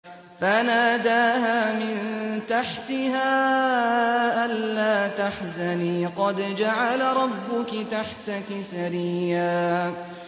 فَنَادَاهَا مِن تَحْتِهَا أَلَّا تَحْزَنِي قَدْ جَعَلَ رَبُّكِ تَحْتَكِ سَرِيًّا